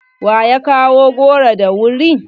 Wa ya kawo goro da wuri?